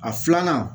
A filanan